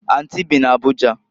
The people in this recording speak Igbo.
Anti bị n'Abuja.